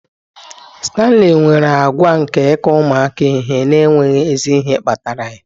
Stanley nwere àgwà nke ịkụ ụmụaka ihe n'enweghị ezi ihe kpatara ya